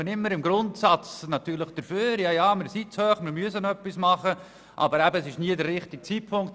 Da ist man im Grundsatz immer dafür, aber es ist nie der richtige Zeitpunkt.